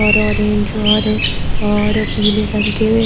और ऑरेंज और और पीले रंग के--